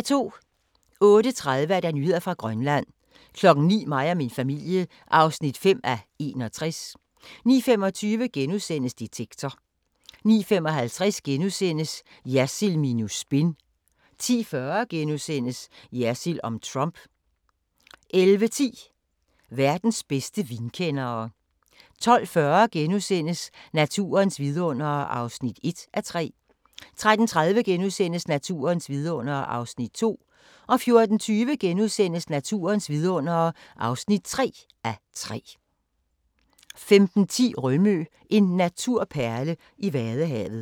08:30: Nyheder fra Grønland 09:00: Mig og min familie (5:61) 09:25: Detektor * 09:55: Jersild minus spin * 10:40: Jersild om Trump * 11:10: Verdens bedste vinkendere 12:40: Naturens vidundere (1:3)* 13:30: Naturens vidundere (2:3)* 14:20: Naturens vidundere (3:3)* 15:10: Rømø – en naturperle i Vadehavet